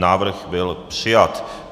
Návrh byl přijat.